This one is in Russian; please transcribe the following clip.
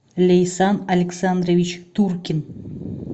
лейсан александрович туркин